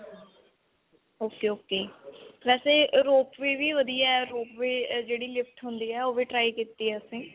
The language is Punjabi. ok. ok. ਵੈਸੇ rope way ਵੀ ਵਧੀਆ ਹੈ. rope way ਜਿਹੜੀ lift ਹੁੰਦੀ ਹੈ ਉਹ ਵੀ try ਕੀਤੀ ਹੈ ਅਸੀਂ.